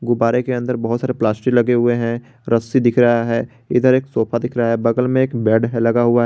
गुब्बारे के अंदर बहोत सारे प्लास्टिक लगे हुए हैं रस्सी दिख रहा है इधर एक सोफा दिख रहा है बगल में एक बेड है लगा हुआ है।